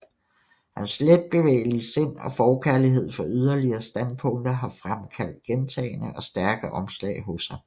Hans letbevægelige sind og forkærlighed for yderlige standpunkter har fremkaldt gentagne og stærke omslag hos ham